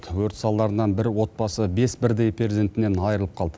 өрт салдарынан бір отбасы бес бірдей перзентінен айырылып қалды